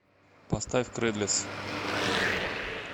поставь крэдлес